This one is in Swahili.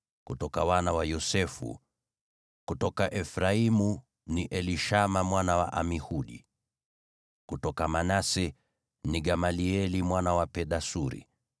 kutoka wana wa Yosefu: kutoka Efraimu, ni Elishama mwana wa Amihudi; kutoka Manase, ni Gamalieli mwana wa Pedasuri;